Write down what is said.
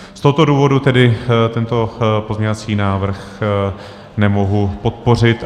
Z tohoto důvodu tedy tento pozměňovací návrh nemohu podpořit.